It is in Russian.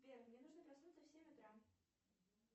сбер мне нужно проснуться в семь утра